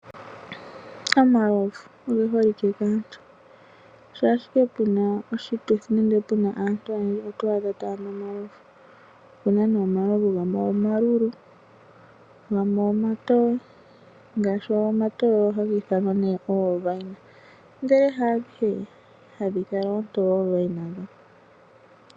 Omalovu oge holike kaantu shaa ashike pena Oshituthi nenge aantu oyendji oto adha taa nu omalovu oouna nee omalovu gamwe omalulu gamwe gamwe omatowe ngaashi ngo matowe ohaga ithamwa oovine ndee hadhi he hadhi kala oontoye oovine.